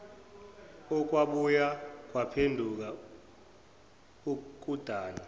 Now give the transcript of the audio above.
okwabuye kwaphenduka ukudana